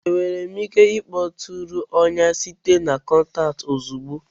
Enwere m ike ịkpọtụrụ ọnya site na kọntaktị ozugbo?